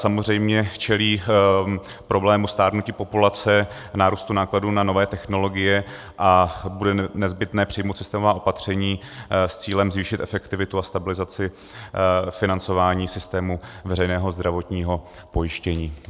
Samozřejmě čelí problému stárnutí populace, nárůstu nákladů na nové technologie a bude nezbytné přijmout systémová opatření s cílem zvýšit efektivitu a stabilizaci financování systému veřejného zdravotního pojištění.